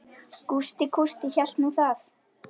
Gústi kústi hélt nú það.